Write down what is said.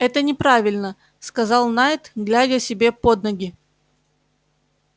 это неправильно сказал найд глядя себе под ноги